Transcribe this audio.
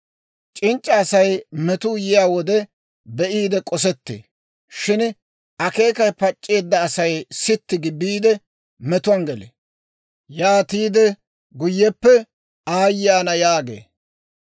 C'inc'c'a Asay metuu yiyaa wode be'iide k'osettee; shin akeekay pac'c'eedda Asay sitti gi biide, metuwaan gelee; yaatiide guyyeppe ayee ana yaagee.